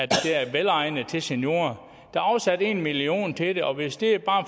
der er velegnet til seniorer der er afsat en million kroner til det og hvis det er